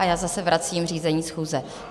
A já zase vracím řízení schůze.